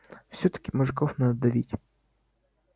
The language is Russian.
всё-таки мужиков надо давить